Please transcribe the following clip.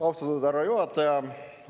Austatud härra juhataja!